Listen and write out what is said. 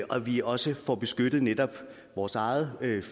at vi også får beskyttet netop vores egen